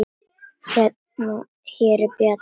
Hér er bjalla.